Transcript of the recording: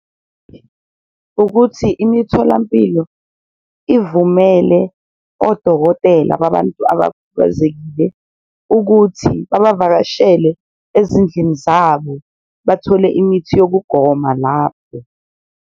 Ukuthi imitholampilo ivumele odokotela babantu abakhubazekile ukuthi babavakashele ezindlini zabo, bathole imithi yokugoma lapho.